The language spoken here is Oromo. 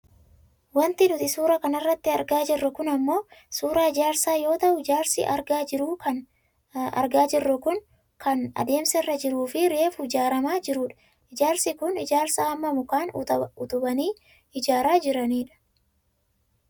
Wanti nuti suuraa kanarratti argaa jirru kun ammoo suuraa ijaarsaa yoo ta'u ijaarsi argaa jirru kun kan adeemsarra jiruufi reefu ijaarramaa jirudha. Ijaarsi kun ijaarsa amma mukaan utubanii ijaaraa jirani dha.